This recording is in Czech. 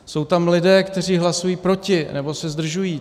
Jsou tam lidé, kteří hlasují proti nebo se zdržují.